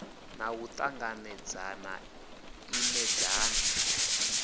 na u ṱanganedzana i imedzana